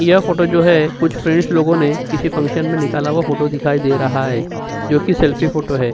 यह जो फोटो है कुछ फ्रेंडस लोगों ने फंक्शन में निकला हुआ फोटो दिखाई दे रहा है जो कि सेल्फी फोटो है।